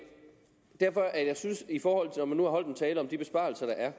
derfor jeg synes når man nu har holdt en tale om de besparelser der er